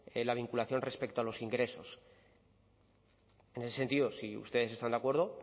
la vinculación respecto a los ingresos en ese sentido si ustedes están de acuerdo